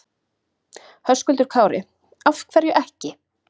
Höskuldur Kári: Af hverju ekki?